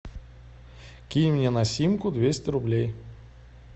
кинь мне на симку двести рублей